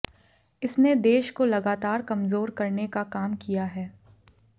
इसने देश को लगातार कमजोर करने का काम किया है